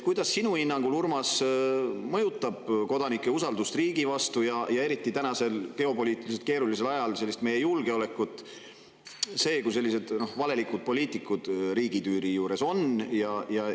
Kuidas sinu hinnangul, Urmas, mõjutab kodanike usaldust riigi vastu ja meie julgeolekut, eriti praegusel geopoliitiliselt keerulisel ajal, see, kui sellised valelikud poliitikud riigitüüri juures on?